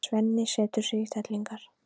Svenni setur sig í stellingar.